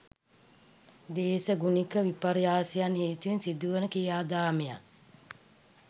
දේශගුණික විපර්යාසයන් හේතුවෙන් සිදු වන ක්‍රියාදාමයන්